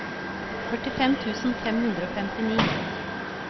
førtifem tusen fem hundre og femtini